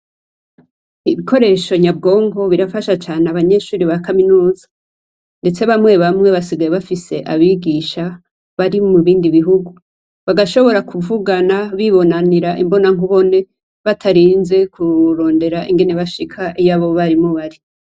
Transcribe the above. Ibikoresho nyabwonko birafasha cane abanyeshure ba kaminuza, ndetse bamwe bamwe basigaye bafise abigisha bari mu bindi bihugu, bagashobora kuvugana bibonanira imbona nkubone, batarinze kurondera ingene bashika iyo abo barimu bari.